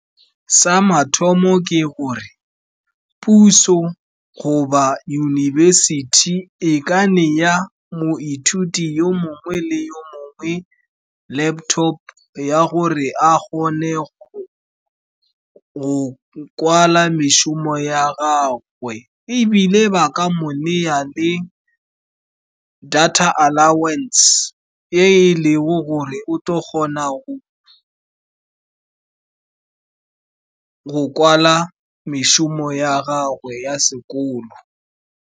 Sa mathomo, ke gore puso goba yunibesithi e ka nea moithuti yo mongwe le yo mongwe laptop ya gore a kgone go kwala mešomo ya gagwe, ebile ba ka mo nea le data allowance, e e leng gore o tlo kgona go kwala mešomo ya gagwe ya sekolo.